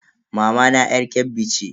Mamana yar Kebbi ce.